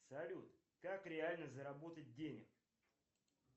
салют как реально заработать денег